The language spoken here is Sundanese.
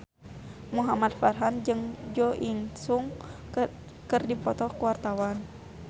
Muhamad Farhan jeung Jo In Sung keur dipoto ku wartawan